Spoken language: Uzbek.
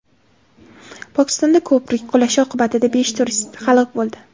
Pokistonda ko‘prik qulashi oqibatida besh turist halok bo‘ldi.